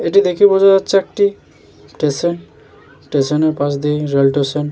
এটি দেখে বোঝা যাচ্ছে একটি স্টেশন । স্টেশনের পাশ দিয়ে রেল স্টেশন ।